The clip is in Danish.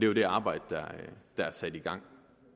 jo det arbejde der er sat i gang